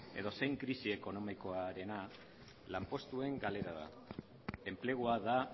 edozein krisi ekonomikoarena lanpostuen galera da enplegua da